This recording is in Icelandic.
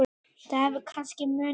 Það hefur kannski munað því.